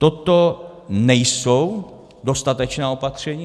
Toto nejsou dostatečná opatření.